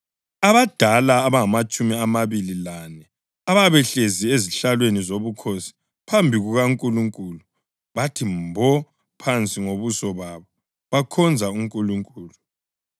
Abadala abangamatshumi amabili lane ababehlezi ezihlalweni zobukhosi phambi kukaNkulunkulu bathi mbo phansi ngobuso babo bakhonza uNkulunkulu,